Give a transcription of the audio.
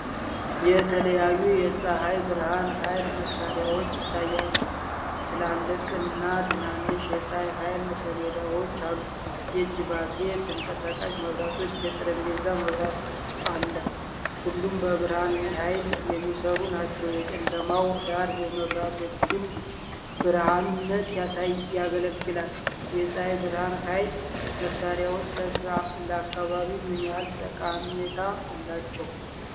የተለያዩ የፀሐይ ብርሃን ኃይል መሣሪያዎች ይታያሉ። ትላልቅና ትናንሽ የፀሐይ ኃይል ሰሌዳዎች አሉ። የእጅ ባትሪዎች፣ ተንቀሳቃሽ መብራቶችና የጠረጴዛ መብራት አለ። ሁሉም በብርሃን ኃይል የሚሠሩ ናቸው። የጨለማው ዳራ የመብራቶቹን ብሩህነት ያጎላል። የፀሐይ ብርሃን ኃይል መሣሪያዎች ለአካባቢ ምን ያህል ጠቀሜታ አላቸው?